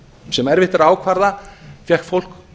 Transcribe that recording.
sem erfitt er að ákvarða fékk fólk